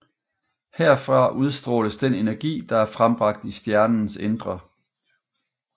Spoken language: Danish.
Herfra udstråles den energi der er frembragt i stjernens indre